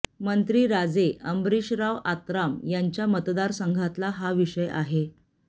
मंत्री राजे अंबरिशराव आत्राम यांच्या मतदारसंघातला हा विषय आहे